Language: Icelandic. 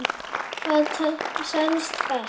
Hvað selst best?